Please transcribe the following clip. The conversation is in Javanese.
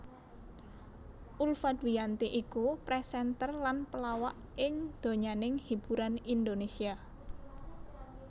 Ulfa Dwiyanti iku presenter lan pelawak ing donyaning hiburan Indonésia